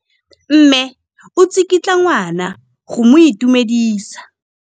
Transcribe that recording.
Mme o tsikitla ngwana go mo itumedisa.